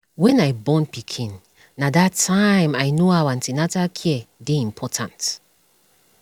when i born pikin na that tym i know how an ten atal care dey important